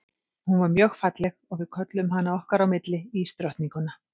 Hún var mjög falleg og við kölluðum hana okkar á milli ísdrottninguna.